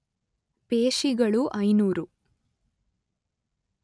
ಪೇಶಿಗಳು ಐನೂರು